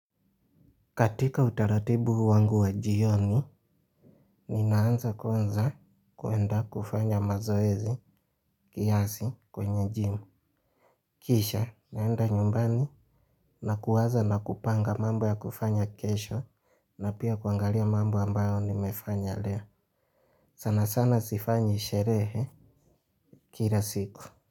Katika utaratibu wangu wa jioni, ninaanza kwanza kuenda kufanya mazoezi kiasi kwenye jimu. Kisha, naenda nyumbani na kuwaza na kupanga mambo ya kufanya kesho na pia kuangalia mambo ambayo nimefanya leo. Sanasana sifanyi sherehe kila siku.